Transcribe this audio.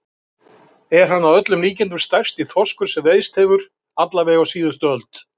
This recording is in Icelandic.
Er hann að öllum líkindum stærsti þorskur sem veiðst hefur, alla vega á síðustu öld.